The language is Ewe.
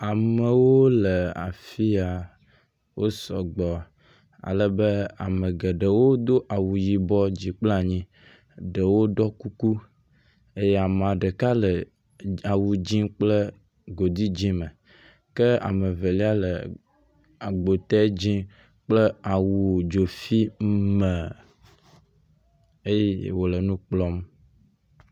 Amewo le afi ya. Wo sɔgbɔ ale be ame geɖe wodo awu yibɔ dzi kpla nyi. Ɖewo ɖɔ kuku eye ame ɖeka le awu dzĩ kple godi dzĩ me. Ke ame evelia le agbotɛ dzĩ kple awu dzofi me eye wòle nu kplɔm.